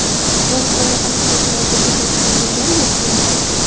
Dog‘istonda politsiyachilarga o‘t ochgan jangari yo‘q qilindi.